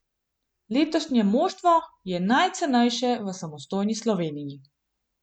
Letošnje moštvo je najcenejše v samostojni Sloveniji.